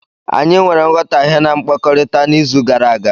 Anyị nwere nghọtahie na mkpakọrịta n'izu gara aga.